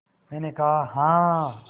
मैंने कहा हाँ